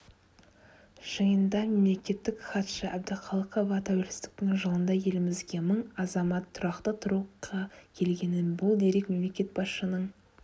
жиында мемлекеттік хатшы әбдіқалықова тәуелсіздіктің жылында елімізге мың азамат тұрақты тұруға келгенін бұл дерек мемлекет басшысының